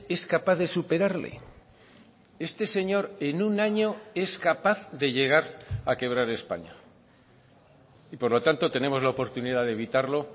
es capaz de superarle este señor en un año es capaz de llegar a quebrar españa y por lo tanto tenemos la oportunidad de evitarlo